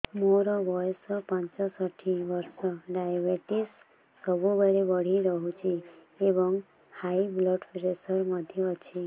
ମୋର ବୟସ ପଞ୍ଚଷଠି ବର୍ଷ ଡାଏବେଟିସ ସବୁବେଳେ ବଢି ରହୁଛି ଏବଂ ହାଇ ବ୍ଲଡ଼ ପ୍ରେସର ମଧ୍ୟ ଅଛି